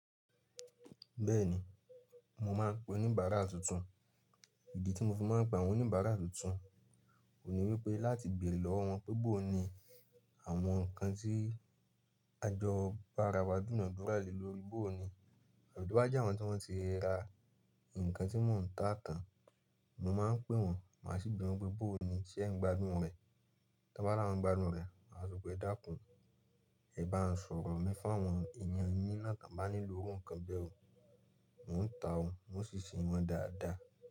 Bẹ́ẹ̀ni, mo máa ń pe oníbàárà tuntun. Ìdí tí mo fi máa ń pe àwọn oníbàárà tuntun, oun ní wípẹ́ láti beere lọ́wọ́ wọn pe bó ni àwọn ǹkan tí a jọ bára wa dunàdúra le lòri, bó ni. Or tó bá jẹ́ àwọn tí wọ́n ti ra nǹkan tí mò ń tà tán, mo máa ń pè wọ́n, màá sì bi wọn pé "bó ni ṣẹ́ ń gbadun rẹ?" T'on bá la won gbadun rẹ̀, màá sọ pé dákún, ẹ bá n sọ̀rọ̀ mi fún àwọn èeyàn yín láti bá nílò iru nkan bẹ́ẹ̀ o. Mo n tà o, un ò si se wọ́n dáadáa.